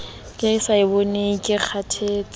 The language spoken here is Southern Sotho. ke sa eboneng ke kgathetse